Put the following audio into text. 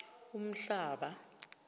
umhlaba